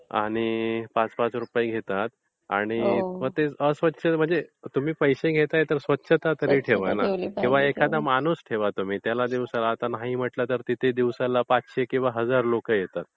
आणि पाच पाच रुपये घेतात आणि मग ते अस्वच्छ म्हणजे तुम्ही पैसे घेताय तर स्वच्छता तरी ठेवा ना किंवा एखादा माणूस तरी ठेवा तुम्ही. त्याला दिवसाला.... आता नाही म्हंटलं तरी तिथे दिवसाला पचसे किंवा हजार लोकं येतात.